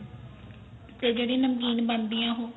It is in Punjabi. ਤੇ ਜਿਹੜੀ ਨਮਕੀਨ ਬਣਦੀ ਏ ਉਹ